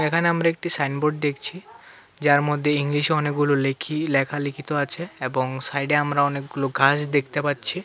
এখানে আমরা একটি সাইনবোর্ড দেখছি যার মধ্যে ইংলিশে অনেকগুলো লেখি লেখালেখি তো আছে এবং সাইডে আমরা অনেকগুলো গাস দেখতে পাচ্ছি।